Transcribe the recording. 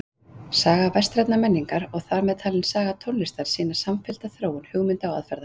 Saga vestrænnar menningar og þar með talin saga tónlistar sýnir samfellda þróun hugmynda og aðferða.